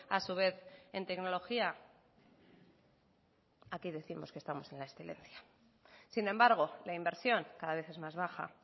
a su vez en tecnología aquí décimos que estamos en la excelencia sin embargo la inversión cada vez es más baja